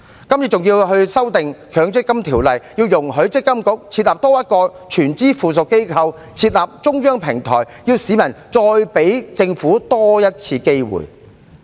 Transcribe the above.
今次政府還要修訂《強制性公積金計劃條例》，容許積金局多設立一個全資附屬公司來推出中央平台，要市民給予政府多一次機會。